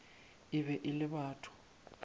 e be e le batho